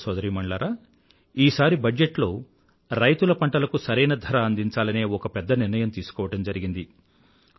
సోదరసోదరీమణులారా ఈసారి బడ్జట్ లో రైతుల పంటలకు సరైన ధర అందించాలనే ఒక పెద్ద నిర్ణయం తీసుకోవడం జరిగింది